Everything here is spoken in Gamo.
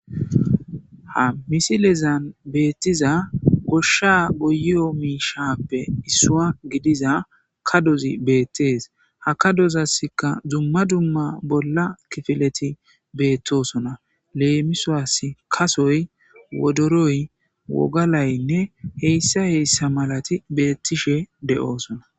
Ha misilezan beettiza goshsha goyo miishappeissua gidiza kadozi beettees ha kadozasskka dumma dumma bolla kifileti beettosona leemisoas kasoy wodoroy wogalaynne heyssa heyssa malati beettishe de7oosona.